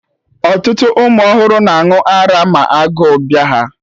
Ọtụtụ ụmụ ọhụrụ na-aṅụ ara ma agụ bịa ha